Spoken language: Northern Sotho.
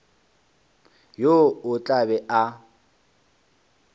yo o tla be a